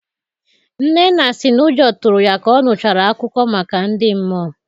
Nnenna si n'ụjọ tụrụ ya ka ọ nụchara akụkọ maka ndị mmụọ.